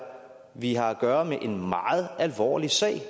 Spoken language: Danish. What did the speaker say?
vi har at gøre med en meget alvorlig sag